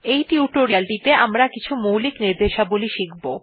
এই টিউটোরিয়ালেটিতে আমরা কিছু মৌলিক র্নিদেশাবলী শিখব